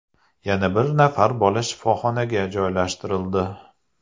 Yana bir nafar bola shifoxonaga joylashtirildi.